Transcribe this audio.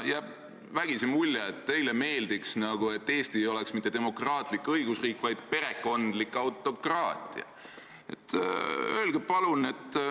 Jääb vägisi mulje, et teile meeldiks, kui Eesti ei oleks mitte demokraatlik õigusriik, vaid perekondlik autokraatia.